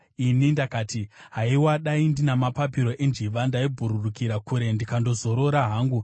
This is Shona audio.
Ini ndakati, “Haiwa, dai ndina mapapiro enjiva! Ndaibhururukira kure ndikandozorora hangu,